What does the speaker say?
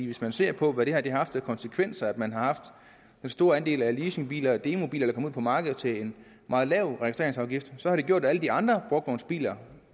hvis man ser på hvad det her har haft af konsekvenser nemlig at man har haft en stor andel af leasingbiler og demobiler der kom ud på markedet til en meget lav registreringsafgift så har det gjort at alle de andre brugtvognsbiler